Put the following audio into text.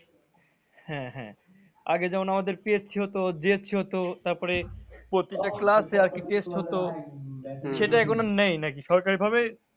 হ্যাঁ হ্যাঁ আগে যেমন আমাদের PSC হতো, GSC হতো, তারপরে প্রতিটি class এ আরকি test হতো, সেটা এখন নেই নাকি সরকারি ভাবে?